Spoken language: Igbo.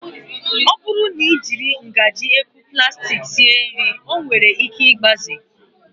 Ọ bụrụ na I jiri ngaji ekwu plastik sie nri ọ nwere ike igbaze